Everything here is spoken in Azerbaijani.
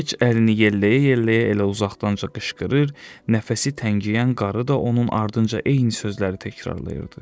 Heç əlini yelləyə-yelləyə elə uzaqdan qışqırır, nəfəsi təngiyən qarı da onun ardınca eyni sözləri təkrarlayırdı.